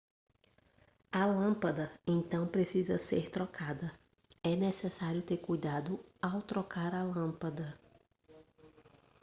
a lâmpada então precisa ser trocada é necessário ter cuidado ao trocar a lâmpada